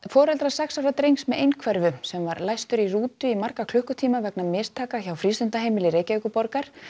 foreldrar sex ára drengs með einhverfu sem var læstur í rútu í marga klukkutíma vegna mistaka hjá frístundaheimili Reykjavíkurborgar